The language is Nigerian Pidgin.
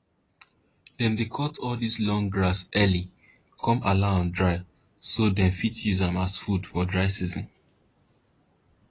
dem dey cut all dis long grass early con allow am dry so dem fit use am as food for dry season